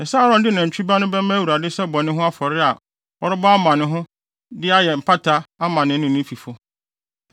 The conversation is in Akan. “Ɛsɛ sɛ Aaron de nantwi ba no bɛma Awurade sɛ bɔne ho afɔre a ɔrebɔ ama ne ho de ayɛ mpata ama ne ho ne ne fifo.